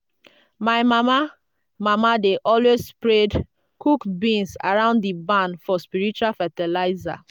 my mama mama dey always spread cooked beans around di barn for spiritual fertilizer